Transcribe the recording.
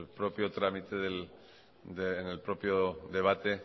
propio trámite en el propio debate